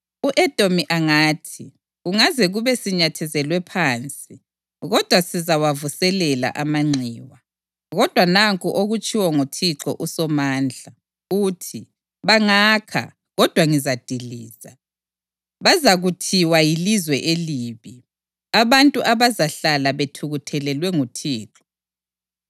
U-Edomi angathi, “Kungaze kube sinyathezelwe phansi kodwa sizawavuselela amanxiwa.” Kodwa nanku okutshiwo nguThixo uSomandla, uthi: “Bangakha, kodwa ngizadiliza. Bazakuthiwa Yilizwe Elibi, abantu abazahlala bethukuthelelwe nguThixo.